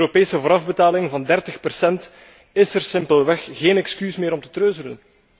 Met een Europese voorafbetaling van 30 procent is er simpelweg geen excuus meer om te treuzelen.